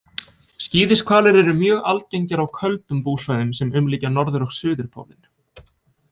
Skíðishvalir eru mjög algengir á köldum búsvæðum sem umlykja norður- og suðurpólinn.